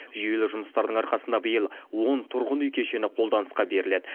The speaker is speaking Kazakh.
жүйелі жұмыстардың арқасында биыл он тұрғын үй кешені қолданысқа беріледі